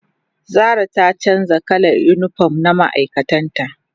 zara ta canja kalan unipom na ma'aikatan ta